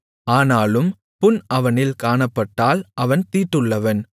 ஆனாலும் புண் அவனில் காணப்பட்டால் அவன் தீட்டுள்ளவன்